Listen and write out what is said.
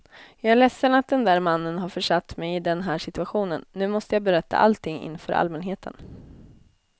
Jag är ledsen att den där mannen har försatt mig i den här situationen, nu måste jag berätta allting inför allmänheten.